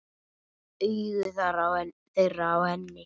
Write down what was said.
Augu þeirra á henni.